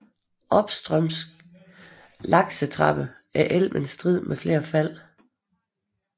Opstrøms laksetrappen er elven strid med flere fald